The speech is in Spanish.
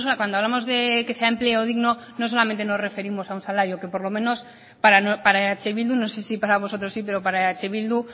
cuando hablamos de que sea empleo digno no solo nos referimos a un salario que por lo menos para eh bildu no sé si para vosotros sí pero para eh bildu un